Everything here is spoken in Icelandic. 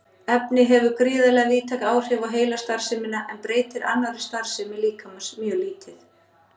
Efnið hefur gríðarlega víðtæk áhrif á heilastarfsemina en breytir annarri starfsemi líkamans mjög lítið.